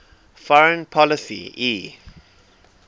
foreign policy e